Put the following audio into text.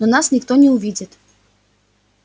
но нас никто не увидит